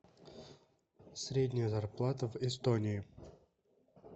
средняя зарплата в эстонии